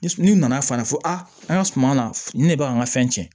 Ni nana fa fɔ a an ga suman na ni ne be an ka fɛn cɛn